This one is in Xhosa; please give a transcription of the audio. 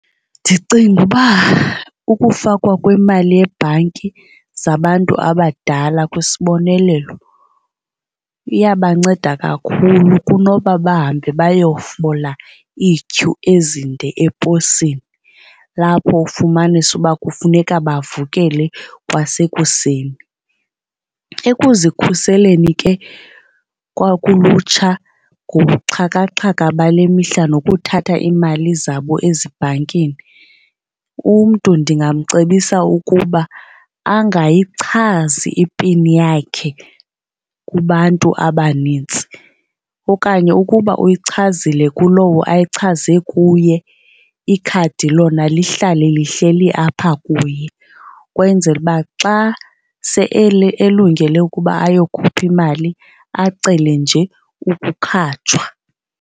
Ndicinga uba ukufakwa kwemali ebhanki zabantu abadala kwisiboneleelo iyabanceda kakhulu kunoba bahambe bayofola iityhu ezinde eposini lapho ufumanise uba kufuneka bavukele kwasekuseni. Ekuzikhuliseni ke kwakulutsha ngobuxhakaxhaka bale mihla nokuthatha iimali zabo ezibhankini umntu ndingamcebisa ukuba angayichazi ipin yakhe kubantu abanintsi. Okanye ukuba uyichazile kulowo ayichaze kuye ikhadi lona lihlale lihleli apha kuye ukwenzela uba xa sele elungele ukuba ayokhupha imali acele nje ukukhatshwa.